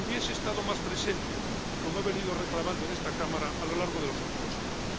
hubiese estado más presente, como he venido reclamando en esta Cámara a lo largo de los últimos años.